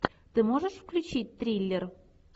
ты можешь включить триллер